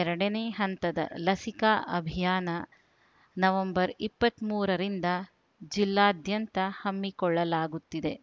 ಎರಡನೇ ಹಂತದ ಲಸಿಕಾ ಅಭಿಯಾನ ನವೆಂಬರ್ ಇಪ್ಪತ್ತ್ ಮೂರರಿಂದ ಜಿಲ್ಲಾದ್ಯಂತ ಹಮ್ಮಿಕೊಳ್ಳಲಾಗುತ್ತಿದೆ